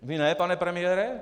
Vy ne, pane premiére?